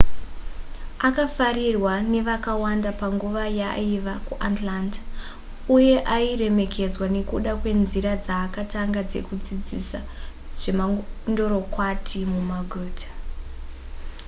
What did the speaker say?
akafarirwa nevakawanda panguva yaaiva kuatlanta uye airemekedzwa nekuda kwenzira dzaakatanga dzekudzidzisa zvemandorokwati mumaguta